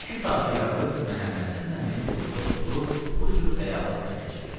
İki saata yaxın Məhəmməd Həsən əmi burda oturub bu cür xəyalatla keçirdi.